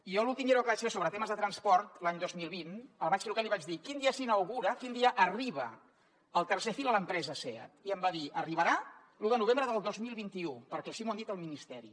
i jo en l’últim llibre que vaig fer sobre temes de transport l’any dos mil vint el vaig trucar i li vaig dir quin dia s’inaugura quin dia arriba el tercer fil a l’empresa seat i em va dir arribarà l’un de novembre del dos mil vint u perquè així m’ho han dit al ministeri